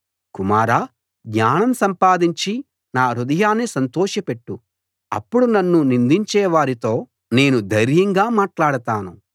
కుమారా జ్ఞానం సంపాదించి నా హృదయాన్ని సంతోషపెట్టు అప్పుడు నన్ను నిందించే వారితో నేను ధైర్యంగా మాటలాడతాను